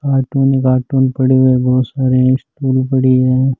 Cartoon ही carton पड़े है बहुत सारे और स्टूल पड़े है।